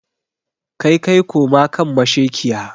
kaikai koma kan mashekiya.